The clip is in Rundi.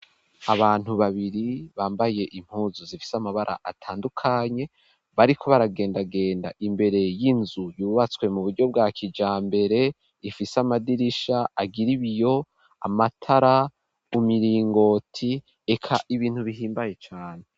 Abantu babiri bambaye impuzu zifise amabara atandukanye, bariko baragendagenda imbere y'inzu yubatswe mu buryo bwa kijambere, ifise amadirisha agira ibiyo, amatara, imiringoti, eka ibintu bihimbaye cane.